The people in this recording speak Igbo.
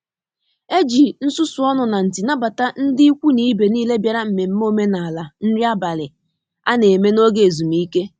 E ji nsusu ọnụ na nti nabata ndị ikwu na ibe niile bịara mmemme omenala iri nri abalị a na-eme n'oge ezumike